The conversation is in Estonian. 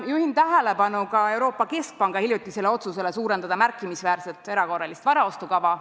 Juhin tähelepanu ka Euroopa Keskpanga hiljutisele otsusele suurendada märkimisväärselt erakorralist varaostukava.